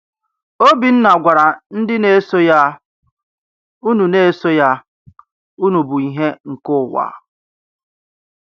Obinna gwara ndị na-eso ya: Unu na-eso ya: Unu bụ ìhè nke ụwa.